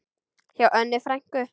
Hjá Önnu frænku.